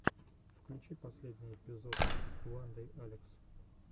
включи последний эпизод уандэйалекс